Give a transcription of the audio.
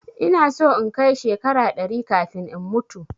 Ina so in kai shekara ɗari kafin in mutu